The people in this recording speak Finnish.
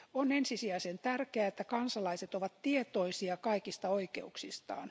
On ensisijaisen tärkeää, että kansalaiset ovat tietoisia kaikista oikeuksistaan.